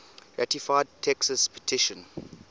ratified texas petition